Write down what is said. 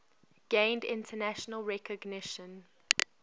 gained international recognition